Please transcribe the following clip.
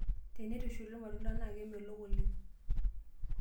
Teneitushuli irmatunda naa kemelok oleng.